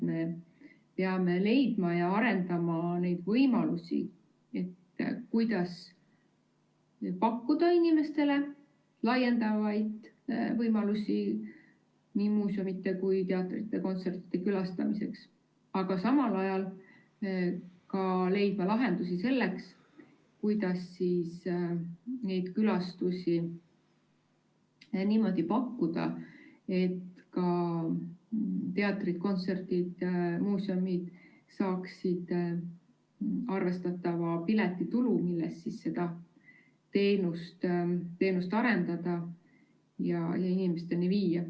Me peame leidma ja arendama neid võimalusi, kuidas pakkuda inimestele laienevaid võimalusi nii muuseumite, teatrite kui ka kontsertide külastamiseks, aga samal ajal leidma ka lahendusi selleks, kuidas neid külastusi niimoodi pakkuda, et ka teatrid, kontserdid, muuseumid saaksid arvestatava piletitulu, millest seda teenust arendada ja inimesteni viia.